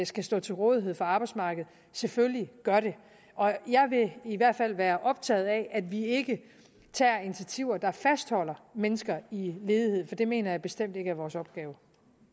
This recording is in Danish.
skal stå til rådighed for arbejdsmarkedet selvfølgelig gør det jeg vil i hvert fald være optaget af at vi ikke tager initiativer der fastholder mennesker i ledighed for det mener jeg bestemt ikke er vores opgave